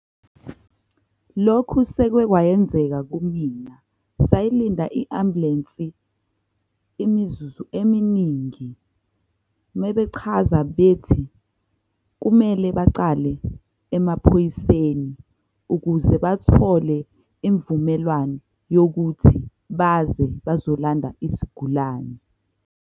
Lokhu sekwekwayenzeka kumina sayilinda i-ambulensi imizuzu eminingi mebechaza bethi, kumele bacale emaphoyiseni ukuze bathole imvumelwano yokuthi baze bazolanda isigulane.